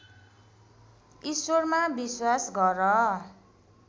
ईश्वरमा विश्वास गर